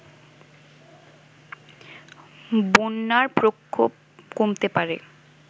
বন্যার প্রকোপ কমতে পারে